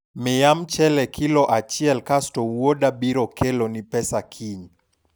miya mchele kilo achiel kasto wuoda biro keloni pesa kiny